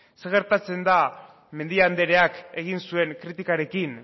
zer gertatzen da mendia andereak egin zuen kritikarekin